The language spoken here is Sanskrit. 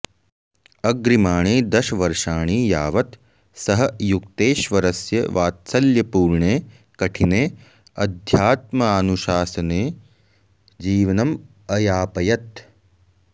अग्रिमाणि दश वर्षाणि यावत् सः युक्तेश्वरस्य वात्सल्यपूर्णे कठिने अध्यात्मानुशासने जीवनम् अयापयत्